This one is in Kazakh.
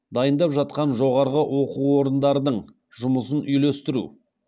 дайындап жатқан жоғарғы оқу орындарының жұмысын үйлестіру